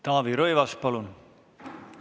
Taavi Rõivas, palun!